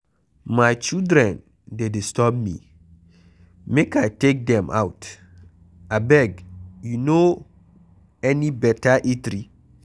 My children dey disturb me make I take dem out, abeg you no any beta eatery?